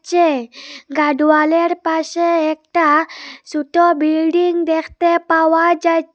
যে গার্ড ওয়ালের পাশে একটা সুটো বিল্ডিং দেখতে পাওয়া যাচ্ছ--